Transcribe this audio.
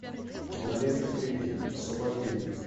кинолента кремень освобождение